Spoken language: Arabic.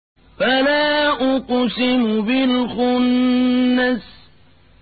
فَلَا أُقْسِمُ بِالْخُنَّسِ